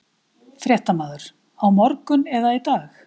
Fréttamaður: Á morgun eða í dag?